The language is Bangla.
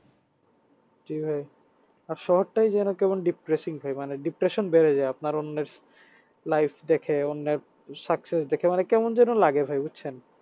জি ভাই আর শহরটাই যেন কেমন depressing ভাই মানে depression বেড়ে যায় আপনার অন্যের life দেখে অন্যের success দেখে মানে কেমন যেন লাগে ভাই বুঝছেন